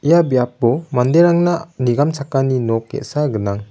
ia biapo manderangna nigamchakani nok ge·sa gnang.